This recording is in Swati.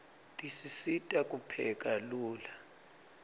tisisita kupheka lula